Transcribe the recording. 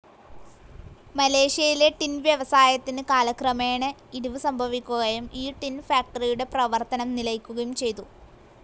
മലേഷ്യയിലെ ടിൻ വ്യവസായത്തിന് കാലക്രമേണ ഇടിവ് സംഭവിക്കുകയും ഈ ടിൻ ഫാക്ടറിയുടെ പ്രവർത്തനം നിലയ്ക്കുകയും ചെയ്തു.